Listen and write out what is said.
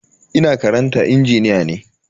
Ina karantar injiniya ne.